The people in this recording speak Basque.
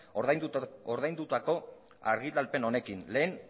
ordaindutako argitalpen honekin lehen